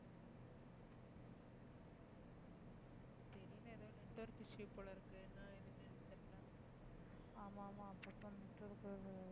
ஆமா ஆமா அப்பப்ப network